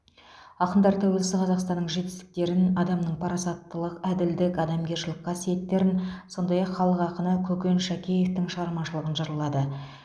ақындар тәуелсіз қазақстанның жетістіктерін адамның парасаттылық әділдік адамгершілік қасиеттерін сондай ақ халық ақыны көкен шәкеевтің шығармашылығын жырлады